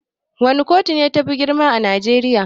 Wana kotu ne tafi girma a najeriya?